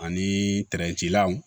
Ani law